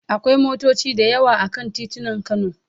Akwai motoci da yawa a kan titunan Kano.